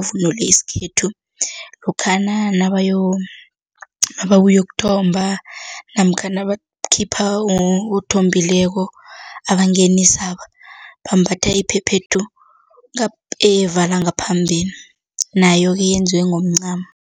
abavunule isikhethu lokhana , nababuya ukuyokuthomba namkha nabakhipha othombileko abangenisaba, bambatha iphephethu evala ngaphambili nayo-ke yenziwe ngomncamo.